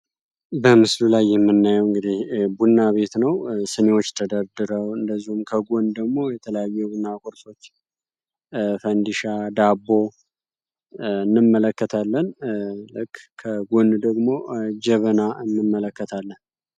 በምስሉ ላይ የምናየው እንግዲህ ቡና ቤት ነው ሲኒወች ተደርድረው እንደዚሁም ከጎን ደግሞ የተለያዩ የቡና ቁርሶች ፈንዲሻ፣ ዳቦ እንመለከታለን ልክ ከጎን ደግሞ ጀበና እንመለከታለን።